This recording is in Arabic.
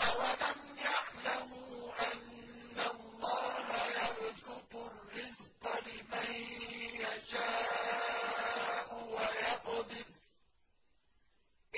أَوَلَمْ يَعْلَمُوا أَنَّ اللَّهَ يَبْسُطُ الرِّزْقَ لِمَن يَشَاءُ وَيَقْدِرُ ۚ